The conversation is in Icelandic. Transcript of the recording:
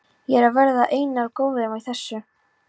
Ég er að verða einum of góður í þessu.